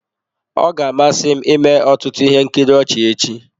Ọ ga-amasị m ịme ọtụtụ ihe nkiri ọchị echi.